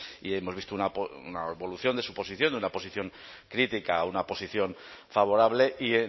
y hemos visto una evolución de su posición de una posición crítica a una posición favorable y